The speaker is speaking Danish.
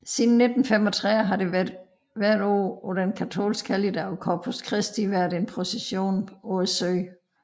Siden 1935 har der hvert år på den katolske helligdag Corpus Christi væeret en procession på søen